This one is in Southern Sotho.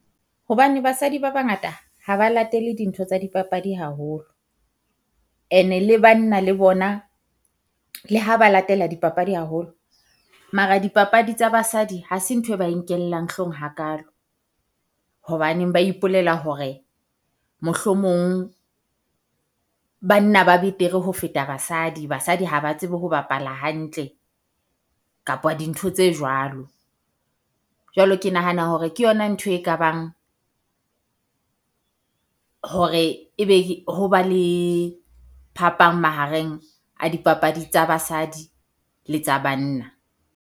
Hobane basadi ba bangata ha ba latele dintho tsa dipapadi haholo, ene le banna le bona le ha ba latela dipapadi haholo, mara dipapadi tsa basadi ha se ntho e ba nkellang hloohong hakalo. Hobaneng ba ipolela hore mohlomong banna ba betere ho feta basadi, basadi haba tsebe ho bapala hantle kapa dintho tse jwalo. Jwalo ke nahana hore ke yona ntho e ka bang hore e be ho ba le phapang mahareng a dipapadi tsa basadi le tsa banna.